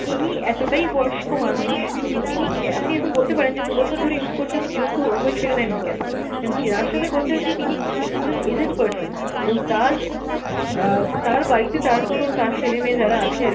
তিনি এতটাই বয়স্ক মানুষ, তিনি ক্যা~ আপনি এখন বলতে পারেন যে দু'বছর ধরে use করছে তো বিরক্ত হয়ে ছেড়ে দেননি কেনো, যার সাথে কথা হয়েছে তিনি একজন aged person, এবং তার অ্যাঁ তার বাড়িতে তার কোনো তার ছেলে মেয়ে যারা আছে আরকি